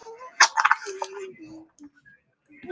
Ægi leg sjón alveg.